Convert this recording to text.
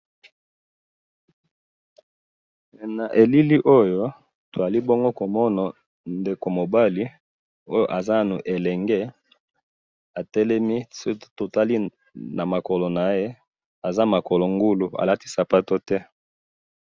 Na elili oyo, tozali bongo komona, ndeko mobali, oyo aza nanu elenge, atelemi, soki totali namakolo naye, azali makolo ngulu, alati sapatu te